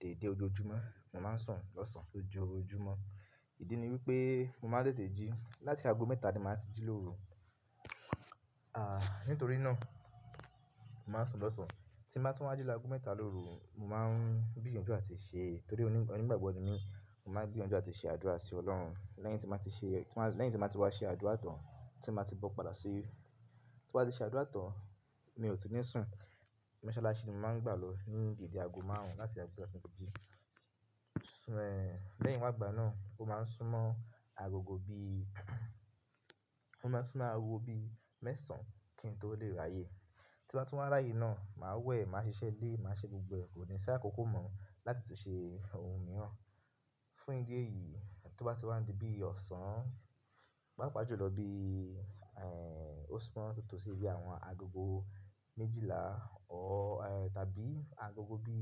déédé ojojúmọ́, mo máa ń sùn lọ́sàn-án lójoojúmọ́. Ìdí ni wípé mo máa ń tètè jí. Láti ago mẹ́ta ni màá ti jí lóru. A, nítorí náà, mo máa ń sùn lọ́sàn-án. Tí mo bá ti wá jí lágo mẹ́ta lóru, mo máa ń gbíyànjú à ti ṣe torí onígbàgbọ́ mi mo máa ń gbíyànjú à ti ṣe àdúrà sí Ọlọ́run. Lẹ́yìn tí màá ti ṣe, lẹ́yìn tí màá ti wá ṣe àdúrà tán, tí mo bá ti bọ̀ padà sí ilé. Tí mo bá ti ṣe àdúrà tán, mi ò tún ní sùn. Mosalásè ni mo máa ń gbà lọ ní ìdíje ago márùn-ún láti ago mẹ́ta tí mo ti jí. Ṣé ẹ, lẹ́yìn wá gbà náà, ó máa ń súnmọ́ agogo bí, ó máa ń súnmọ́ awo bí mẹ́sàn-án kí n tó lè ráyè. Tí mo bá ti wá ráyè náà, màá wẹ̀, màá ṣiṣẹ́ ilé, màá ṣe gbogbo ẹ̀. Kò ní ṣá kókó mọ́ láti tún ṣe ohun mìíràn. Fún ìdí èyí, tó bá ti wá di bí ọ̀sán, pàápàá jùlọ bí, ehn, ó súnmọ́ tó tó sí bí àwọn agogo méjìlá ọ́ tàbí agogo bí,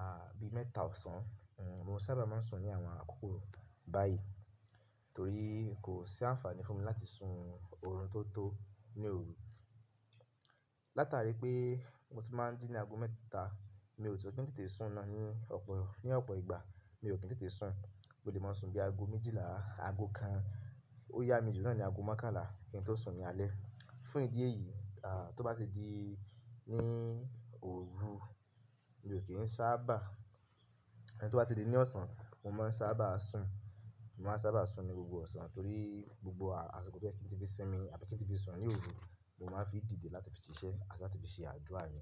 àbí mẹ́ta ọ̀sán, mo sábà máa ń sùn ní àwọn àkókò báyìí torí kò sí àǹfààní fún mi láti sùn òórùn tó tó ní òru. Látarí pé mo ti máa ń jí ní ago mẹ́ta, mi ò tún tó tètè sùn náà ní ọ̀pọ̀, ní ọ̀pọ̀ ìgbà. Mi ò kí n tètè sùn, bó ti máa ń sùn bí ago méjìlá, ago kan. Ó yá mi jù náà ni ago mẹ́kàlá kí n tó sùn ní alẹ́. Fún ìdí èyí, à, tó bá ti di ní òru, mi ò kì í sábà. Tí ó bá ti di ní ọ̀sán, mo máa ń sábà sùn. Mo máa ń sábà sùn ní gbogbo ọ̀sán torí gbogbo àṣìkọ tí ẹ kì í ti fi sín mi, àti kí n tí fi sùn ní òru, mo máa ń fi dìde láti fi ṣiṣẹ́ àti láti fi ṣe àdúrà mi.